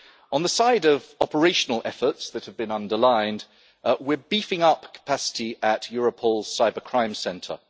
On the side of operational efforts that have been underlined, we are beefing up capacity at Europol's Cybercrime Centre.